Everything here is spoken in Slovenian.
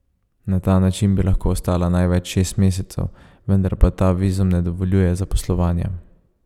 Na ta način bi lahko ostala največ šest mesecev, vendar pa ta vizum ne dovoljuje zaposlovanja.